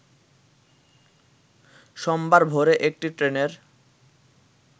সোমবার ভোরে একটি ট্রেনের